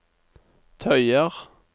tøyer